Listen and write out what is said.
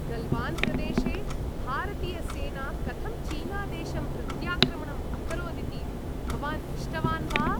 गल्वान्प्रदेशे भारतीयसेना कथं चीनादेशम् प्रत्याक्रमणम् अकरोदिति भवान् दृष्टवान् वा?